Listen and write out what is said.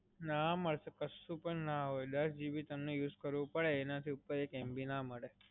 ના મડસે, કશું પણ ના હોય. દસ GB તમને use કરવું પડે, એનાથી ઉપર એક MB ના મળે.